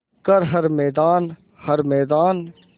कर हर मैदान हर मैदान